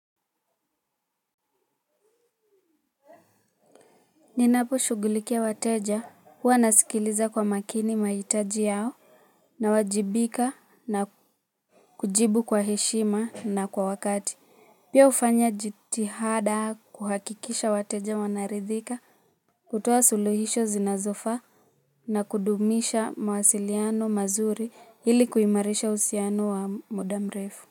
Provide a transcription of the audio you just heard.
Ninapo shugulikia wateja, huwa nasikiliza kwa makini maitaji yao, nawajibika na kujibu kwa heshima na kwa wakati. Pia ufanya jithihada kuhakikisha wateja wanaridhika, kutoa suluhisho zinazofaa, na kudumisha mawasiliano mazuri ili kuimarisha usiano wa muda mrefu.